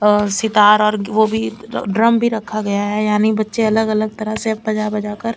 और सितार और वो भी ड्रम भी रखा गया है यानि बच्चे अलग अलग तरीके से बजा बजा कर--